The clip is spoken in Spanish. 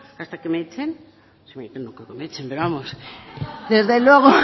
hasta que me echen no creo que me echen pero vamos desde luego